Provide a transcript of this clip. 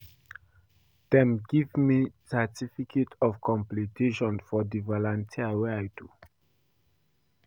Dem give me certificate of completion for di volunteer wey I do.